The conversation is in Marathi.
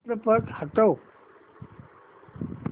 चित्रपट हटव